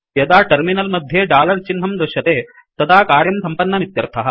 यदा टर्मिनल् मद्ये डालर चिह्नं दृश्यते तदा कार्यं सम्पन्नमित्यर्थः